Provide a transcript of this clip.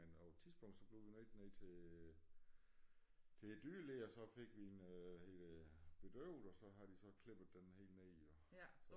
Men på et tidspunkt så blev vi nok nødt til til dyrlæge og så fik vi hende bedøvet og så har de så klippet den helt ned jo